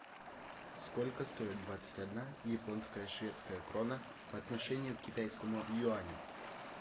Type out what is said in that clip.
сколько стоит двадцать одна японская шведская крона по отношению к китайскому юаню